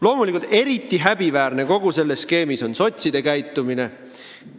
Loomulikult eriti häbiväärne kogu selles skeemis on sotside käitumine.